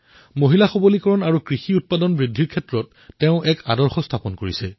মহিলা সশক্তিকৰণ আৰু খেতিক লাভজনক কৰি তোলাৰ দিশত তেওঁ আদৰ্শ স্থাপন কৰিছে